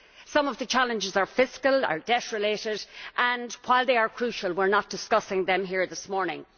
Some of the challenges are fiscal are debt related and while they are crucial, we are not discussing them here this morning.